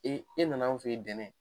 e nana an fɛ yen dɛnɛ